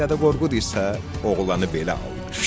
Dədə Qorqud isə oğlanı belə alqışladı.